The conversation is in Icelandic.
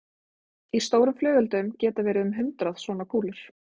Í stórum flugeldum geta verið um hundrað svona kúlur.